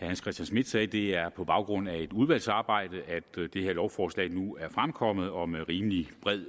hans christian schmidt sagde at det er på baggrund af et udvalgsarbejde at det her lovforslag nu er fremkommet og med rimelig bred